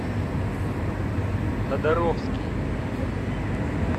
тодоровский